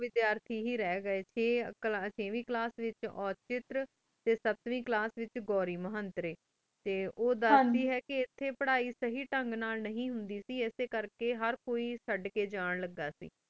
ਵੇਚਾਰ ਟੀ ਹੀ ਰਾਹ ਗੀ ਟੀ ਛਾਵੇਂ ਕਲਾਸ ਵੇਚ ਉਤ੍ਰਿਕ ਟੀ ਸਾਤਵੇੰ ਕਲਾਸ ਵੇਚ ਘੂਰੀ ਮੰਤਰੀ ਟੀ ਓਦਾ ਆਯ੍ਵੇ ਹੀ ਕੀ ਪਢ਼ਾਈ ਸਹੀ ਤਾਂਘ ਨਾਲ ਨੀ ਹੁੰਦੀ ਟੀ ਏਸੀ ਕਰ ਕੀ ਹੇਰ ਕੋਈ ਚੜ ਕੀ ਜਾਨ ਲਗਾ ਸੇ